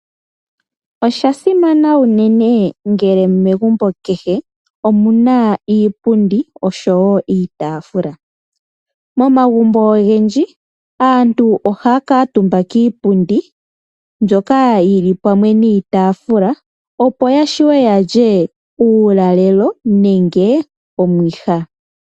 Osha simana unene ngele megumbo kehe omu na iipundi noshowo iitaafula. Momagumbo ogendji aantu ohaya kuutumba kiipundi, mbyoka yi li pamwe niitaafula, opo ya vule okulya uulalelo nenge omwiha.